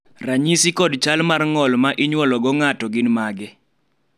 ranyisi kod chal mar ng'o l ma inywolo go ng'ato gin mage?